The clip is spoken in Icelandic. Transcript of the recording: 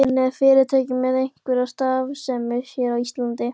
En er fyrirtækið með einhverja starfsemi hér á Íslandi?